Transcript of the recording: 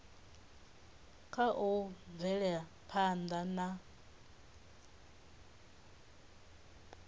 kha u bvela phanḓa na